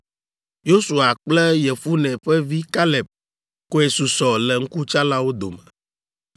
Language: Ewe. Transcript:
Yosua kple Yefune ƒe vi Kaleb koe susɔ le ŋkutsalawo dome.